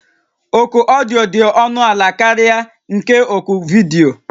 Oku odiyo dị ọnụ ala karịa nke oku vidiyo